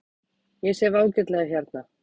Ég sef ágætlega hérna.